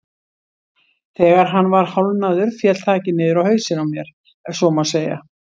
Þegar hann var hálfnaður féll þakið niður á hausinn á mér ef svo má segja.